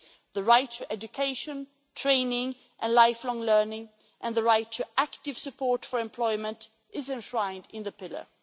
The right to education, training and lifelong learning and the right to active support for employment is enshrined in the Pillar.